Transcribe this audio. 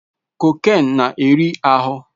Cocaine na-eri ahụ